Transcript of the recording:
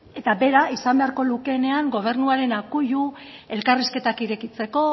eta bera izan beharko lukeenean gobernuaren akuilu elkarrizketak irekitzeko